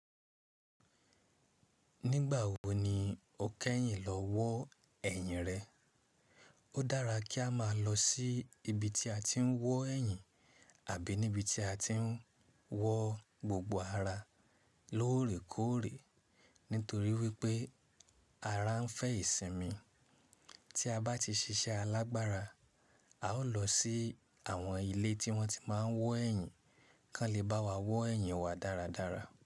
Nígbà wo ni o kẹ́yìn lọ wọ ẹyin rẹ? Ó dára kí a máa lọ sí ibi tí a ti ń wọ ẹyin àbí ní ibi tí a ti ń wọ gbogbo ara lorikore nítorí wípé ara ń fẹ ìsinmi. Tí a bá ti ṣiṣẹ́ alágbára, a ó lọ sí àwọn ilé tí wọ́n ti máa ń wọ ẹyin kan lè bá wa wọ ẹyin wa dáradára.